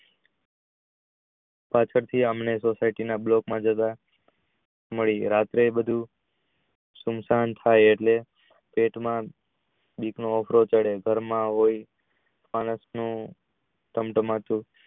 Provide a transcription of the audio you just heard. આમ કરતી અનેઅમારી society મળી રાત્રે બધું સુમસાન થઈ એટલે પેટ માં ઘર માં હોય માણશ નું